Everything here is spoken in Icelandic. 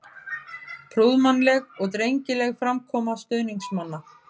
Prúðmannleg og drengileg framkoma stuðningsmanna.